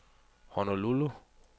Honolulu